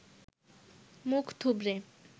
মুখ থুবড়ে